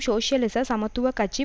சோசியலிச சமத்துவ கட்சி